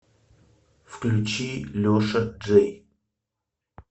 включи леша джей